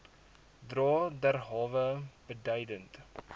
dra derhalwe beduidend